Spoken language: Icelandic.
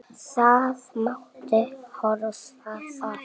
Það mátti prófa það.